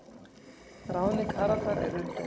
Ráðning Haraldar er umdeild.